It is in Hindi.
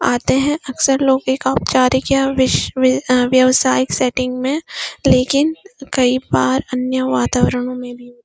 आते हैं अक्सर लोग एक औपचारिक या विश्व व अ व्यवसायिक सेटिंग में लेकिन कई बार अन्य वातावरणो में भी --